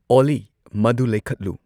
ꯑꯣꯂꯤ ꯃꯗꯨ ꯂꯩꯈꯠꯂꯨ꯫